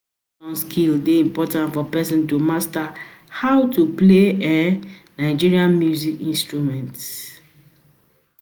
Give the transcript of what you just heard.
hands-on skills dey important for person to master how to play um Nigeria music instrument